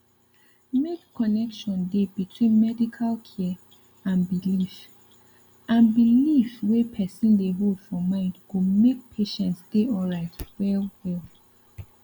make connection dey between medical care and belief and belief wey person dey hold for mind go make patient dey alright well well